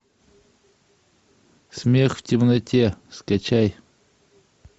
смех в темноте скачай